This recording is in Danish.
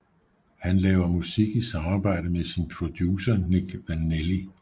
Han laver musik i samarbejde med sin producer Nick Vanelli